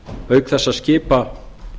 auk þess að skipa